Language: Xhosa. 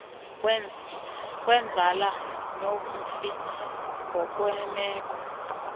kwenzala nomfi ngokwemeko